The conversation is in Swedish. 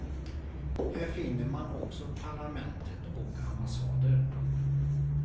Här finner man också parlamentet och ambassader.